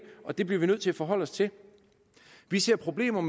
og det bliver vi nødt til at forholde os til vi ser problemer